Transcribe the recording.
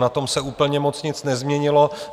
Na tom se úplně moc nic nezměnilo.